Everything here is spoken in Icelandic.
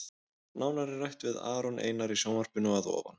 Nánar er rætt við Aron Einar í sjónvarpinu að ofan.